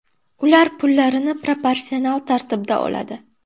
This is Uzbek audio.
Ular pullarini proporsional tartibda oladi.